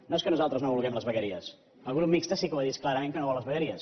no és que nosaltres no vulguem les vegueries el grup mixt sí que ho ha dit clarament que no vol les vegueries